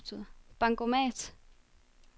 bankomat